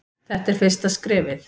Þetta er fyrsta skrefið.